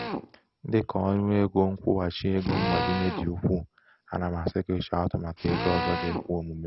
dị ka ọnụ égo nkwụghachi égo mgbazinye dị ukwuu ana m asị gị chọọ atụmatụ égo ọzọ ga-ekwe omume.